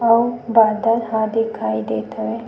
अउ बादल ह दिखाई देत हवे।